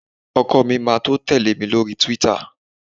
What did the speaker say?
ọkọ mi ma to tele mi lori twitter